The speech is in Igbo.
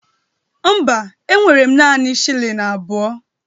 Mba, enwere m naanị shilling abụọ.